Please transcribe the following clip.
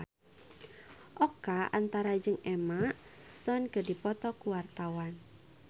Oka Antara jeung Emma Stone keur dipoto ku wartawan